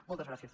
moltes gràcies